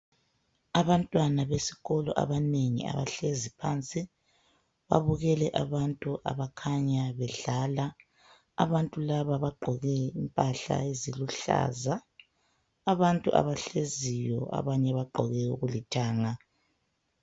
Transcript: Abantwana besikolo abanengi abahlezi phansi babukele abantu abakhanya bedlala abantu laba bagqoke impahla eziluhlaza abantu abahleziyo abanye bagqoke okulithanga.